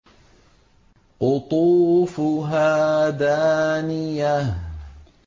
قُطُوفُهَا دَانِيَةٌ